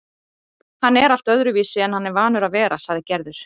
Hann er allt öðruvísi en hann er vanur að vera, sagði Gerður.